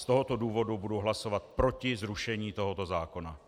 Z tohoto důvodu budu hlasovat proti zrušení tohoto zákona.